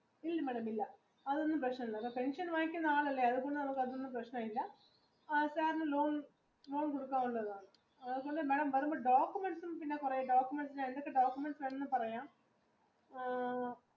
ഇല്ല madam അതൊന്നും പ്രശ്നമില്ല പെൻഷൻ വാങ്ങിക്കുന്ന ആളെല്ലേ അതൊന്നും പ്രശ്നമില്ല loan കൊടുക്കാവുന്നതാണ് പിന്നെ madam കുറെ documents ഏതൊക്കെ documents വേണം എന്ന് പറയാം